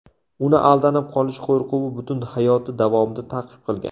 Uni aldanib qolish qo‘rquvi butun hayoti davomida ta’qib qilgan.